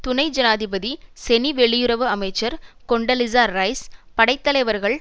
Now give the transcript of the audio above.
துணை ஜனாதிபதி செனி வெளியுறவு அமைச்சர் கொண்டலீசா ரைஸ் படைத்தலைவர்கள்